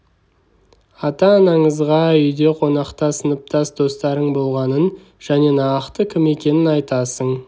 ата-анаңызға үйде қонақта сыныптас достарың болғанын және нақты кім екенін айтасың